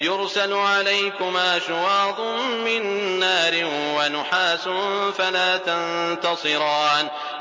يُرْسَلُ عَلَيْكُمَا شُوَاظٌ مِّن نَّارٍ وَنُحَاسٌ فَلَا تَنتَصِرَانِ